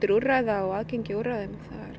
úrræða og aðgengi að úrræðum